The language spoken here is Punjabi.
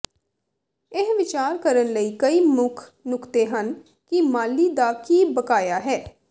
ਇਹ ਵਿਚਾਰ ਕਰਨ ਲਈ ਕਈ ਮੁੱਖ ਨੁਕਤੇ ਹਨ ਕਿ ਮਾਲੀ ਦਾ ਕੀ ਬਕਾਇਆ ਹੈ